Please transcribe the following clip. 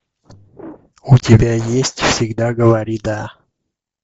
у тебя есть всегда говори да